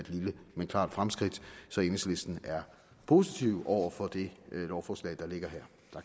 lille men klart fremskridt så enhedslisten er positive over for det lovforslag der ligger